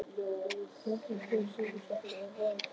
Hjördís Rut Sigurjónsdóttir: Er vorið komið?